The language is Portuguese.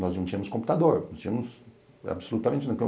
Nós não tínhamos computador, não tínhamos absolutamente nada.